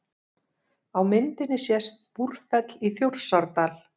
Á myndinni sést Búrfell í Þjórsárdal.